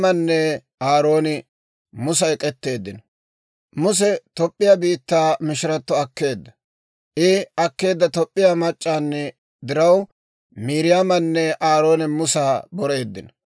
Muse Toop'p'iyaa biittaa mishirato akkeedda. I akkeedda Toop'p'iyaa mac'c'aani diraw, Miiriyaamanne Aarooni Musa boreeddino.